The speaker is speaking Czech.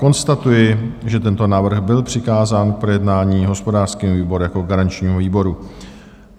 Konstatuji, že tento návrh byl přikázán k projednání hospodářskému výboru jako garančnímu výboru.